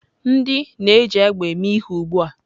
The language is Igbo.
Ndị na-eji egbe eme ihe ugbu a.